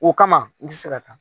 O kama n ti se ka taa